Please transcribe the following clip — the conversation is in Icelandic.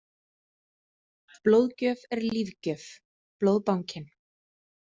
Blóðgjöf er lífgjöf- Blóðbankinn.